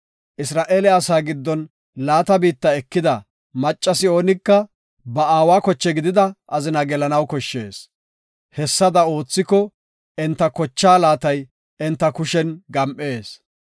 Isra7eele asa giddon laata biitta ekida maccasi oonika ba aawa koche gidida azina gelanaw koshshees. Hessada oothiko enta kochaa laatay enta kushen gam7ees.